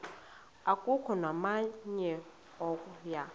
akukho namnye oya